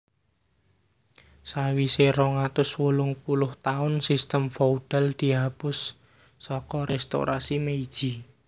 Sawise rong atus wolung puluh taun sistem feodal dihapus saka Restorasi Meiji